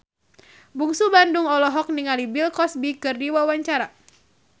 Bungsu Bandung olohok ningali Bill Cosby keur diwawancara